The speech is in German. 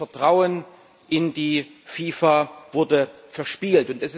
Das Vertrauen in die FIFA wurde verspielt.